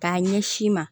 K'a ɲɛsin i ma